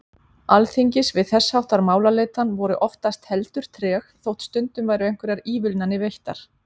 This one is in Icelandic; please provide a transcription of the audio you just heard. Alþingis við þess háttar málaleitan voru oftast heldur treg, þótt stundum væru einhverjar ívilnanir veittar.